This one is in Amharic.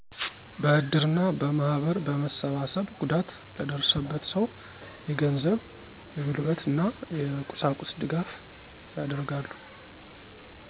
በእድር እና በማህበር በመሰባሰብ ጉዳት ለደረሰበት ሰው የገንዘብ፣ የጉልበት እና የቁሳቁስ ድጋፍ ያደርጋሉ።